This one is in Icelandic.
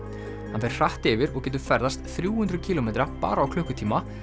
hann fer hratt yfir og getur ferðast þrjú hundruð kílómetra bara á klukkutíma